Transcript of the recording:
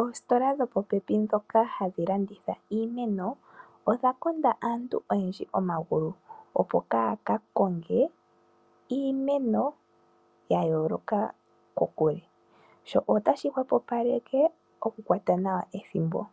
Oositola dhopopepi ndhoka hadhi landitha iimeno odha konda aantu oyendji omagulu opo kaya kakonge iimeno ya yooloka kokule ,sho otashi hwepopaleke okukwata nawa ethimbo sho.